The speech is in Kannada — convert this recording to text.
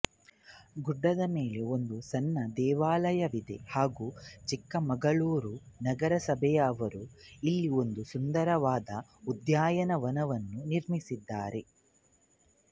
ಗುಡ್ಡದ ಮೇಲೆ ಒಂದು ಸಣ್ಣ ದೇವಾಲಯವಿದೆ ಹಾಗು ಚಿಕ್ಕಮಗಳೂರು ನಗರ ಸಭೆಯವರು ಇಲ್ಲಿ ಒಂದು ಸುಂದರವಾದ ಉದ್ಯಾನವನವನ್ನು ನಿರ್ಮಿಸಿದ್ದಾರೆ